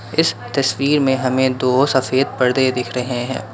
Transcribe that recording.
इस तस्वीर में हमें दो सफेद पर्दे दिख रहे हैं।